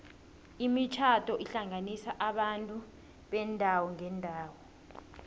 imitjhado ihlanganisa abantu beendawo ngeendawo